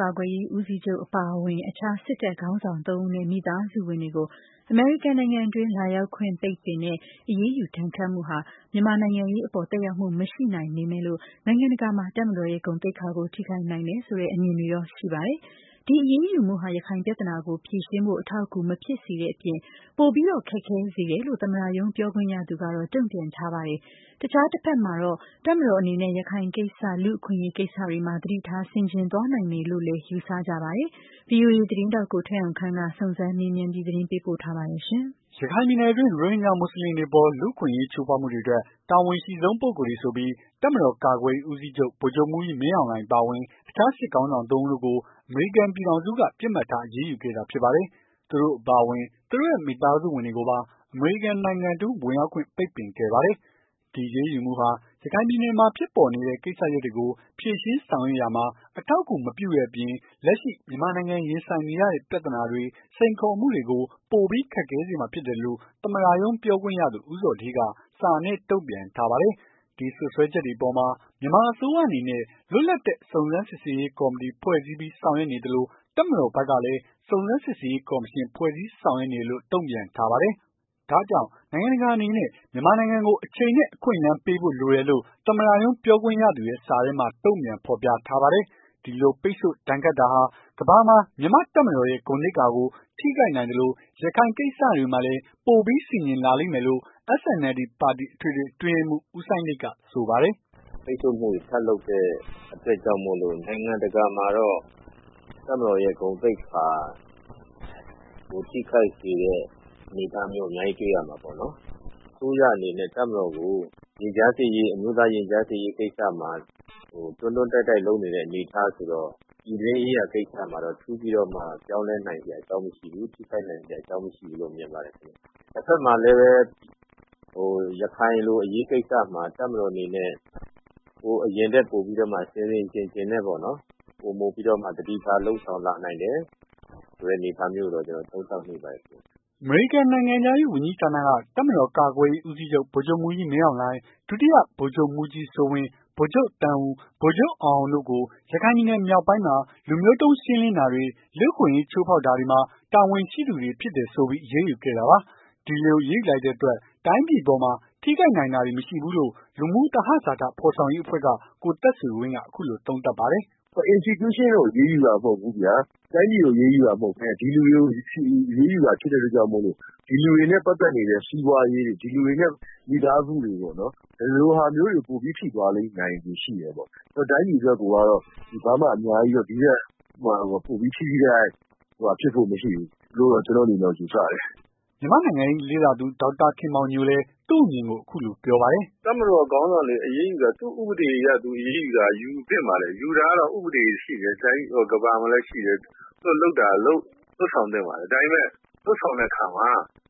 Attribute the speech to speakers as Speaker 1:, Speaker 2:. Speaker 1: ကာကွယ်ရေးဦးစီးချုပ်အပါအဝင် အခြားစစ်တပ်ခေါင်းဆောင် ၃ ဦးနဲ့ မိသားစုဝင်တွေကို အမေရိကန်နိုင်ငံတွင်း လာရောက်ခွင့် ပိတ်ပင်တဲ့ အရေးယူဒဏ်ခတ်မှုဟာ မြန်မာနိုင်ငံရေးအပေါ်မှာ သက်ရောက်မရှိနိုင်ပေမယ့်လို့၊ နိုင်ငံတကာမှာ တပ်မတော်ရဲ့ဂုဏ်သိက္ခာ ထိခိုက်နိုင်တယ်ဆိုတဲ့ အမြင်တွေရှိပါတယ်။ ဒီ အရေးယူမှုဟာ ရခိုင်ပြဿနာကိုဖြေရှင်းဖို့ အထောက်အကူ မဖြစ်စေတဲ့အပြင် ပိုပြီးခက်ခဲစေတယ်လို့ သမ္မတရုံးပြောခွင့်ရသူကတော့ တုံ့ပြန်ထားပါတယ်။ အခြားတဖက်မှာတော့ တပ်မတော်အနေနဲ့ ရခိုင်ကိစ္စ လူ့အခွင့်အရေးကိစ္စတွေမှာ သတိထား ဆင်ခြင်သွားနိုင်တယ်လို့လည်း ယူဆကြပါတယ်။ ဗွီအိုအေ သတင်းထောက် ကိုထက်အောင်ခန့် စုံစမ်းမေးမြန်းထားပါတယ်။ ရခိုင်ပ
Speaker 2: ြည်နယ်တွင်း ရိုဟင်ဂျာမွတ်ဆလင်တွေအပေး လူ့အခွင့်အရေး ချိုးဖောက်မှုအတွက် တာဝန်အရှိဆုံးပုဂ္ဂိုလ်တွေဆိုပြီး တပ်မတော်ကာကွယ်ရေးဦးစီးချုပ် ဗိုလ်ချုပ်မှူးကြီး မင်းအောင်လှိုင် အပါအဝင် အခြားစစ်ခေါင်းဆောင် ၃ ဦးတို့ကို အမေရိကန်ပြည်ထောင်စုက ပစ်မှတ်ထား အရေးယူ ခဲ့တာဖြစ်ပါတယ်။ သူတို့အပါအဝင် သူတို့ရဲ့မိသားစုဝင်တွေကိုပါ အမေရိကန်နိုင်ငံတွင်း ဝင်ရောက်ခွင့် ပိတ်ပင်ခဲ့ပါတယ်။ ဒီအရေးယူမှုဟာ ရခိုင်ပြည်နယ်မှာဖြစ်နေတဲ့ ကိစ္စရပ်တွေကို ဖြေရှင်းဆောင်ရွက်ရာမှာ အထောက်အကူ မပြုတဲ့အပြင်၊ လက်ရှိ မြန်မာနိုင်ငံရင်ဆိုင်နေရတဲ့ ပြဿနာတွေ စိန်ခေါ်မှုတွေကို ပိုပြီး ခက်ခဲစေမှာဖြစ်တယ်လို့ သမ္မတရုံးပြောခွင့်ရသူ ဦးဇော်ဌေးက စာနဲ့ တုံ့ပြန်ထားပါတယ်။ ဒီစွပ်စွဲချက်တွေအပေါ်မှာ မြန်မာအစိုးရအနေနဲ့ လွတ်လပ်တဲ့စုံစမ်းစစ်ဆေးရေးကော်မတီ ဖွဲ့စည်းပြီးဆောင်ရွက်နေသလို၊ တပ်မတော်ဖက်ကလည်း စုံစမ်းစစ်ဆေးရေးကော်မရှင် ဖွဲ့စည်းဆောင်ရွက်နေတယ်လို့ တုံ့ပြန်ထားပါတယ်။ ဒါ့ကြောင့် နိုင်ငံတကာအနေနဲ့ မြန်မာနိုင်ငံကို အချိန်နဲ့ အခွင့်အလမ်း ပေးဖို့ လိုတယ်လို့ သမ္မတရုံးပြောခွင့်ရသူရဲ့ စာထဲမှာ တုံ့ပြန်ဖော်ပြထားပါတယ်။ ဒီလိုပိတ်ဆို့ ဒဏ်ခတ်တာဟာ ကမ္ဘာမှာ မြန်မာ့တပ်မတော်ရဲ့ ဂုဏ်သိက္ခာကို ထိခိုက်နိုင်သလို ရခိုင်အရေးကိစ္စ တွေမှာလည်း ပိုပြီး ဆင်ခြင်လာလိမ့်မယ်လို့ SNLD ပါတီ အထွေထွေ အတွင်းရေးမှူး ဦးစိုင်းလိတ်က ဆိုပါတယ်။
Speaker 3: " အမေရိကန်ဘက်က ပိတ်ဆို့မှုတွေ ထပ်လုပ်တဲ့အတွက်ကြောင့်မို့လို့ နိုင်ငံတကာမှာတော့ တပ်မတော်ရဲ့ ဂုဏ်သိက္ခာ ထိခိုက်စေတဲ့ အနေအထားမျိုး အများကြီး တွေ့ရမှာပေါ့နော်။ အစိုးရအနေနဲ့ တပ်မတော်ကို အမျိုးသားရင်ကြားစေ့ရေး ကိစ္စမှာ တွန်းတွန်းတိုက်တိုက် လုပ်နေတဲ့ အနေအထားဆိုတော့ ပြည်တွင်းရေးရာကိစ္စမှာတော့ ထူးပြီးတော့ ပြောင်းလဲနိုင်တဲ့ အနေအထား မရှိဘူး။ ထိခိုက်နိုင်စရာ အကြောင်းမရှိဘူးလို့တော့ ကျွန်တော်မြင်ပါတယ်ခင်ဗျ။ တဖက်မှာလည်းပဲ ရခိုင်လိုအရေးကိစ္စမှာ တပ်မတော်အနေနဲ့ ဟိုအရင်ထက်ပိုပြီးတော့မှ ဆင်ဆင်ခြင်ခြင်နဲ့ ပိုမိုပြီးတော့မှ သတိထားလုပ်ဆောင်လာနိုင်တယ်ဆိုတဲ့အနေအထားမျိုးကိုတော့ ကျွန်တော်သုံးသပ်မိပါတယ်။
Speaker 2: " အမေရိကန်နိုင်ငံခြားရေးဝန်ကြီးဌာနက တပ်မတော်ကာကွယ်ရေးဦးစီးချုပ် ဗိုလ်ချုပ်မှူးကြီး မင်းအောင်လှိုင် ဒုတိယ ဗိုလ်ချုပ်မှူးကြီးစိုးဝင်း ၊ ဗိုလ်ချုပ်သန်းဦး ၊ ဗိုလ်ချုပ်အောင်အောင်တို့ကို ရခိုင်ပြည်နယ် မြောက်ပိုင်းမှာ လူမျိုးတုန်းရှင်းလင်းတာတွေ လူ့အခွင့်အရေး ချိုးဖောက်တာတွေမှာ တာဝန်ရှိသူတွေဖြစ်တယ်ဆိုပြီး အရေးယူခဲ့တာပါ။ ဒီလိုအရေးယူလိုက်တဲ့အတွက် တိုင်းပြည်အပေါ်မှာ ထိခိုက်နိုင်တာတွေမရှိဘူးလို့ လူမှုသဟဇာတ ဖော်ဆောင်ရေးအဖွဲ့က ကိုသက်ဆွေဝင်းက အခုလိုသုံးသပါတယ်။ “institution ကိုအရေးယူတာမဟုတ်ဘူးဗျာ။ တိုင်းပြည်ကိုအရေးယူတာမဟုတ်ဘဲနဲ့ ဒီလူတွေကို အရေးယူတာ ဖြစ်တဲ့အတွက်ကြောင့် ဒီ
Speaker 4: လူတွေနဲ့ပတ်သက်နေတဲ့ စီးပွားရေး ဒီလူတွေနဲ့ မိသားစုတွေပေါ့နော်။ ဒီလိုဟာမျိုးတွေ ပိုပြီးထိသွားနိုင်ခြေရှိတယ်ပေါ့နော်။ တိုင်းပြည်အတွက်ကိုကတော့ ဒီထက်ပိုပြီး အများကြီး
Speaker 2: ပိုပြီးထိထိခိုက်ခိုက် ဖြစ်ဖို့မရှိဘူးလို့တော့ ကျွန်တော့်အနေနဲ့မြင်တယ်။" မြန်မာ့နိုင်ငံရေးလေ့လာသူ ဒေါက်တာခင်မောင်ညို လည်း သူ့အမြင်ကို အခုလိုပြောပါတယ်။
Speaker 4: "တပ်မတော်ခေါင်းဆောင်တွေအရေးယူတာ သူ့ဥပဒေအရ အရေးယူတာ ယူသင့်ပါတယ်။ ယူတာက ဥပဒေရှိတယ်။ ကမ္ဘာမှာလည်းရှိတယ်။ သူတို့လုပ်ဆောင်တာ လုပ်ဆောင်သင့်ပါတယ်။ ဒါပေမယ့် လုပ်ဆောင်တဲ့ အခါမှာ